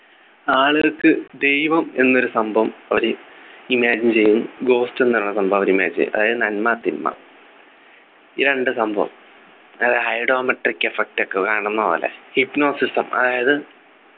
ആളുകൾക്ക് ദൈവം എന്നൊരു സംഭവം അവര് imagine ചെയ്യും ghost എന്നുള്ളൊരു സംഭവം അവര് imagine ചെയ്യും അതായത് നന്മ തിന്മ ഈ രണ്ടു സംഭവം അത് hydometric effect ഒക്കെ കാണുന്നപോലെ hipnosism അതായത്